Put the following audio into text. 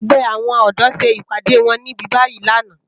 Ègbè áwòn òdò sé ipàdé wòn nìbíbàyí làná